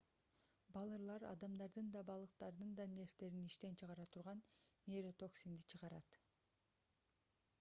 балырлар адамдардын да балыктардын да нервдерин иштен чыгара турган нейротоксинди чыгарат